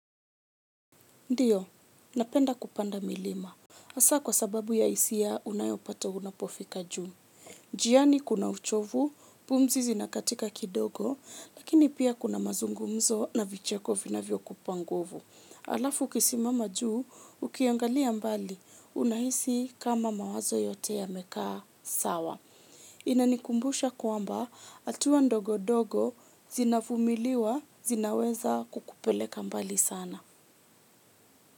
Ndiyo, napenda kupanda milima. Hasa kwa sababu ya hisia unayopata unapofika juu. Njiani kuna uchovu, pumzi zinakatika kidogo lakini pia kuna mazungumzo na vicheko vinavyo kupa nguvu. Alafu ukisimama juu ukiangalia mbali unahisi kama mawazo yote yamekaa sawa. Inanikumbusha kwamba hatua ndogo ndogo zinavumiliwa zinaweza kukupeleka mbali sana.